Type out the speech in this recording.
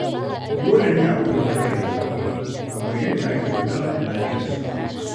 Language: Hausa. Dole ne a kula da lafiyar ƙwaƙwalwa, kamar yadda ake kula da lafiyar jiki.